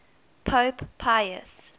pope pius